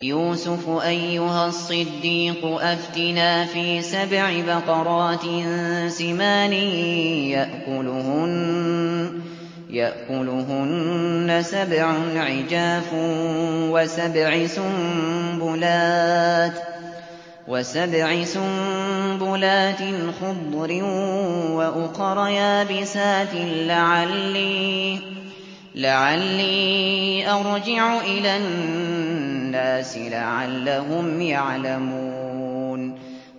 يُوسُفُ أَيُّهَا الصِّدِّيقُ أَفْتِنَا فِي سَبْعِ بَقَرَاتٍ سِمَانٍ يَأْكُلُهُنَّ سَبْعٌ عِجَافٌ وَسَبْعِ سُنبُلَاتٍ خُضْرٍ وَأُخَرَ يَابِسَاتٍ لَّعَلِّي أَرْجِعُ إِلَى النَّاسِ لَعَلَّهُمْ يَعْلَمُونَ